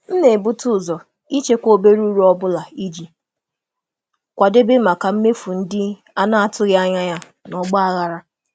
M na-ebute ụzọ ịchekwa obere uru ọ bụla iji kwadebe maka mmefu ndị a na-atụghị anya ya na ọgba aghara.